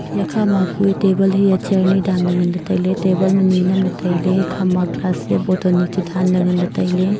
iya kha ma kue table hia chair ni danley ngan ley tailey table ma ni namle tailey ikhama glass hia botton ni chu danley nganley tailey.